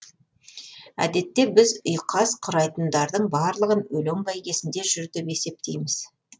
әдетте біз ұйқас құрайтындардың барлығын өлең бәйгесінде жүр деп есептейміз